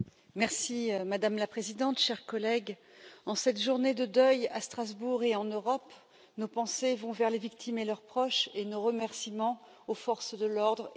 Madame la Présidente, chers collègues, en cette journée de deuil à Strasbourg et en Europe, nos pensées vont vers les victimes et leurs proches et nos remerciements aux forces de l'ordre et de santé.